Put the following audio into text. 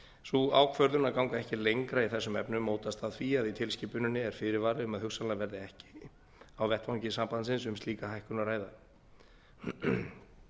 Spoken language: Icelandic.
sú ákvörðun að ganga ekki lengra í þessum efnum mótast af því að í tilskipuninni er fyrirvari um að hugsanlega verði ekki á vettvangi sambandsins um slíka hækkun að ræða